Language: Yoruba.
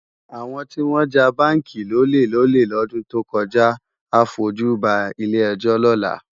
Awòn tiwòn já bánki lólé lòlé lòdún tókòjá á fójú bá ilé èjò lòlá